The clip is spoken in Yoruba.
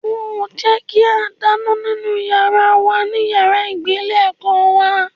Wọn ò jẹ́ kí a dáná nínú yàrá wa ní yàrá ìgbé ilé ẹ̀kọ́ wa